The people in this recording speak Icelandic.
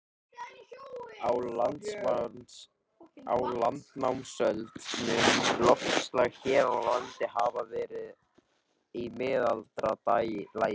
Á landnámsöld mun loftslag hér á landi hafa verið í mildara lagi.